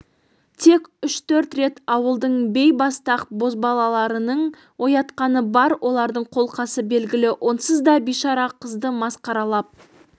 тек үш-төрт рет ауылдың бейбастақ бозбалаларының оятқаны бар олардың қолқасы белгілі онсыз да бишара қызды масқаралап